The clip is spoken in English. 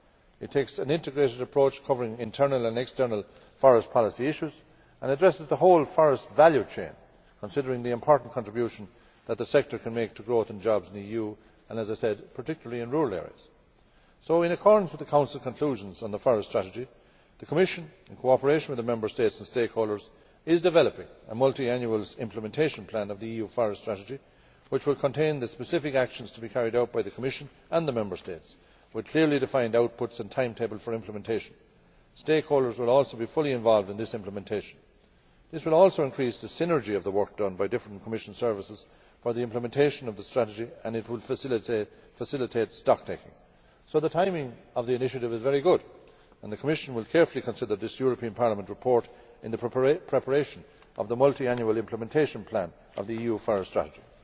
It takes an integrated approach covering internal and external forest policy issues and addresses the whole forest value chain, considering the important contribution that the sector can make to growth and jobs in the EU and, as I said, particularly in rural areas. Therefore, in accordance with the Council conclusions on the forest strategy, the Commission, in cooperation with the Member States and stakeholders, is developing a multiannual implementation plan of the EU forest strategy, which will contain the specific actions to be carried out by the Commission and the Member States, with clearly defined outputs and a timetable for implementation. Stakeholders will also be fully involved in this implementation. This will also increase the synergy between the work done by different Commission services for the implementation of the strategy, and it would facilitate stocktaking. So the timing of the initiative is very good and the Commission will carefully consider this Parliament report in the preparation of the multiannual implementation plan of the EU Forest Strategy.